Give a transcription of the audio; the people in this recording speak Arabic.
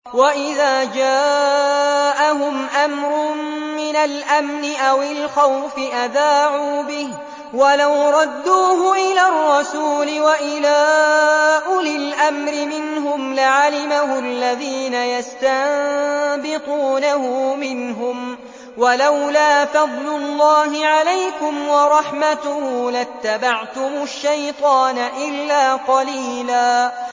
وَإِذَا جَاءَهُمْ أَمْرٌ مِّنَ الْأَمْنِ أَوِ الْخَوْفِ أَذَاعُوا بِهِ ۖ وَلَوْ رَدُّوهُ إِلَى الرَّسُولِ وَإِلَىٰ أُولِي الْأَمْرِ مِنْهُمْ لَعَلِمَهُ الَّذِينَ يَسْتَنبِطُونَهُ مِنْهُمْ ۗ وَلَوْلَا فَضْلُ اللَّهِ عَلَيْكُمْ وَرَحْمَتُهُ لَاتَّبَعْتُمُ الشَّيْطَانَ إِلَّا قَلِيلًا